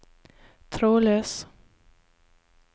trådløs